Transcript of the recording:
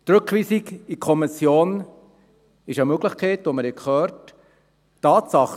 Die Rückweisung in die Kommission ist eine Möglichkeit, wie wir gehört haben.